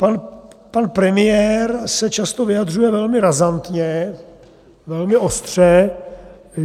Pan premiér se často vyjadřuje velmi razantně, velmi ostře.